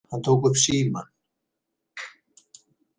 Hann tók upp símann.